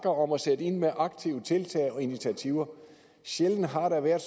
om at sætte ind med aktive tiltag og initiativer sjældent har der været